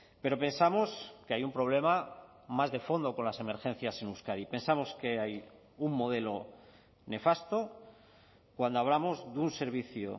pero pensamos que hay un problema más de fondo con las emergencias en euskadi pensamos que hay un modelo nefasto cuando hablamos de un servicio